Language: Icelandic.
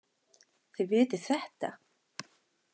Þið vitið þetta.